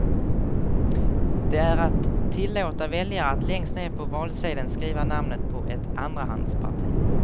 Det är att tillåta väljare att längst ned på valsedeln skriva namnet på ett andrahandsparti.